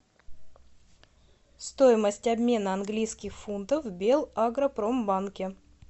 стоимость обмена английских фунтов в белагропромбанке